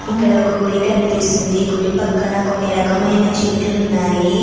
ఇక్కడ ఒక గుడి కాడ కనిపిస్తుంది గుడి పక్కన కొన్ని రకమైన చెట్లు ఉన్నాయి.